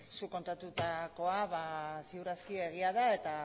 zuk kontatutakoa ziur aski egia da eta